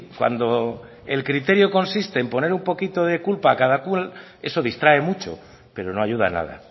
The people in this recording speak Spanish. cuando el criterio consiste en poner un poquito de culpa a cada cual eso distrae mucho pero no ayuda nada